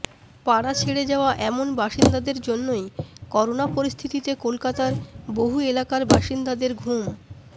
পাড়া ছেড়ে যাওয়া এমন বাসিন্দাদের জন্যই করোনা পরিস্থিতিতে কলকাতার বহু এলাকার বাসিন্দাদের ঘুম